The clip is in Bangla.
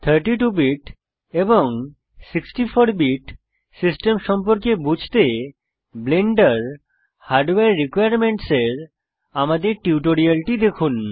32 বিট এবং 64 বিট সিস্টেম সম্পর্কে বুঝতে ব্লেন্ডার হরদ্বারে রিকোয়ারমেন্টস এর আমাদের টিউটোরিয়াল দেখুন